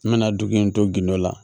N bɛna dugu in to gindo la